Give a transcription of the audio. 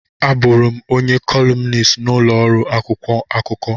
Abụụrụ m onye kọlumnist n'ụlọ ọrụ akwụkwọ akụkọ.